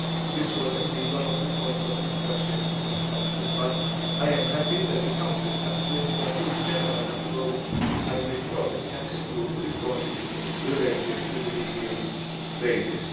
This was indeed one of the points of discussion in the Council, but I am happy that the Council approved the full general approach and did not exclude the point relating to the legal basis.